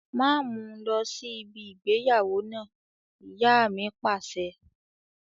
Máa mu lọ sí ibi ìgbéyàwó náà! Ìyá mi Pàṣẹ.